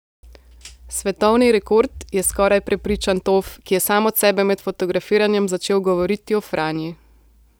Svetovni rekord, je skoraj prepričan Tof, ki je sam od sebe med fotografiranjem začel govoriti o Franji.